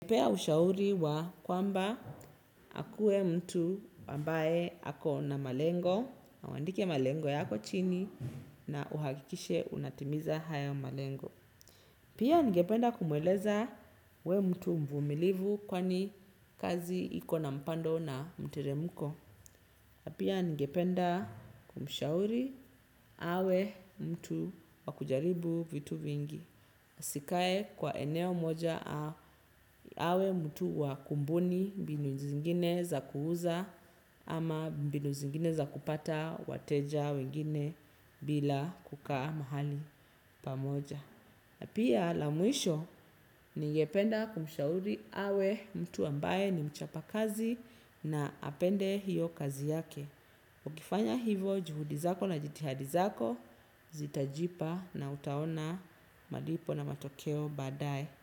Ningepea ushauri wa kwamba akuwe mtu ambaye ako na malengo na uandike malengo yako chini na uhakikishe unatimiza haya malengo. Pia ngependa kumeleza awe mtu mvumilivu kwani kazi ikona mpando na mteremko. Napia ngependa kumshauri awe mtu wakujaribu vitu vingi. Asikae kwa eneo moja, awe mtu wakubuni mbinu zingine za kuuza ama mbinu zingine za kupata wateja wengine bila kukaa mahali pamoja. Pia la mwisho ningependa kumshauri awe mtu ambaye ni mchapa kazi na apende hiyo kazi yake. Ukifanya hivyo, juhudi zako na jitihada zako, zitajipa na utaona malipo na matokeo baadae.